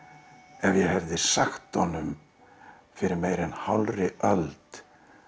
ef ég hefði sagt honum fyrir meira en hálfri öld